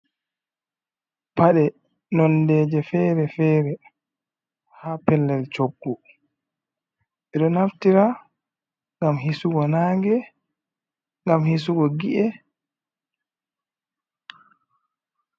Pade nondeje fere-fere, ha pellel coggo, ɓedo naftira gamhisugo nange, gam hisugo gi’e.